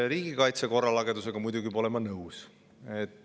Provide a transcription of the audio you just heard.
Riigikaitse korralagedusega muidugi pole ma nõus.